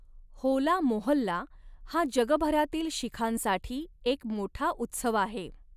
होला मोहल्ला हा जगभरातील शीखांसाठी एक मोठा उत्सव आहे.